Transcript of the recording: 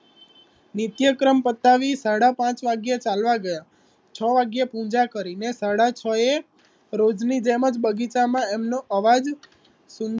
નિત્યક્રમ પતાવિ સાડા પાંચ વાગ્યે ચાલવા ગયા છ વાગ્યે પૂજા કરી ને સાડા છ એ રોજની જેમ જ બગીચામા એમનો અવાજ સુંદર